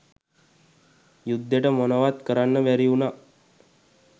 යුද්දෙට මොනවත් කරන්න බැරි උනා